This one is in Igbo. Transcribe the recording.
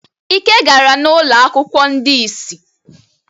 Ike gara n'ụlọ akwụkwọ ndị ìsì